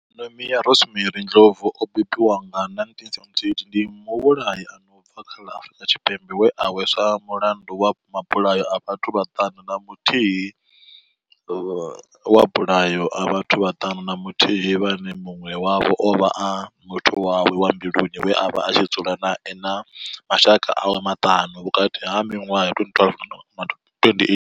Nomia Rosemary Ndlovu o bebiwaho nga 1978 ndi muvhulahi a no bva kha ḽa Afurika Tshipembe we a hweswa mulandu wa mabulayo a vhathu vhaṱanu na muthihi vhane munwe wavho ovha a muthu wawe wa mbiluni we avha a tshi dzula nae na mashaka awe maṱanu vhukati ha minwaha ya.